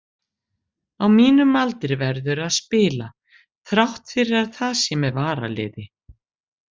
Á mínum aldri verðurðu að spila, þrátt fyrir að það sé með varaliði.